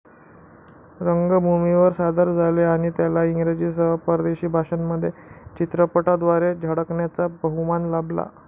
रंगभूमीवर सादर झाले आणि त्याला इंग्रजीसह परदेशी भाषांमध्ये चित्रपटाद्वारे झळकण्याचा बहुमान लाभला.